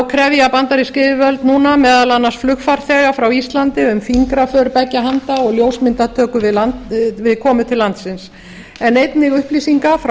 krefja bandarísk yfirvöld núna meðal annars flugfarþega frá íslandi um fingraför beggja handa og ljósmyndatöku við komu til landsins en einnig upplýsinga frá